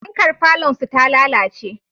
Fankar falonsu ta lalace.